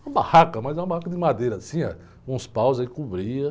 Uma barraca, mas uma barraca de madeira, assim, com uns paus aí, cobria.